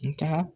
Nga